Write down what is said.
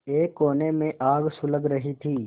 एक कोने में आग सुलग रही थी